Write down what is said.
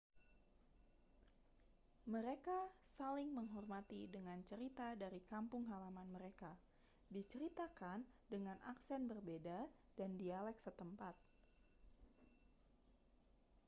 mereka saling menghormati dengan cerita dari kampung halaman mereka diceritakan dengan aksen berbeda dan dialek setempat